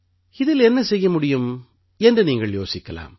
இதில் என்ன செய்ய முடியும் என்று நீங்கள் யோசிக்கலாம்